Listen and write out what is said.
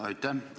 Aitäh!